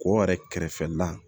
Ko yɛrɛ kɛrɛfɛla